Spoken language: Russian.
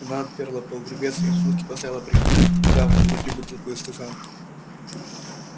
она отперла погребец и с минуту постояла приткав к груди бутылку и стакан